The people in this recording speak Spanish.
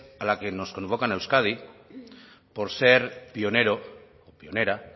a las que nos convocan a euskadi por ser pionero o pionera